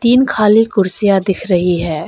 तीन खाली कुर्सियां दिख रही है।